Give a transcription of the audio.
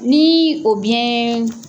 Niii o biɲɛɛɛ.